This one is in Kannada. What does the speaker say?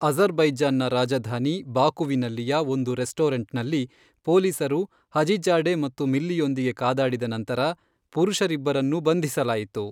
ಅಝರ್ ಬೈಜಾನ್ನ ರಾಜಧಾನಿ ಬಾಕುವಿನಲ್ಲಿಯ ಒಂದು ರೆಸ್ಟೋರೆಂಟ್ನಲ್ಲಿ ಪೊಲೀಸರು ಹಜಿಝಾಡೆ ಮತ್ತು ಮಿಲ್ಲಿಯೊಂದಿಗೆ ಕಾದಾಡಿದ ನಂತರ, ಪುರುಷರಿಬ್ಬರನ್ನೂ ಬಂಧಿಸಲಾಯಿತು.